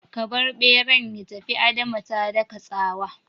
Ka bar ɓeran ya tafi! Adama ta daka tsawa